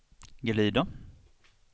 glida